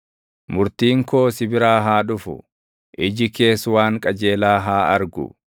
Murtiin koo si biraa haa dhufu; iji kees waan qajeelaa haa argu.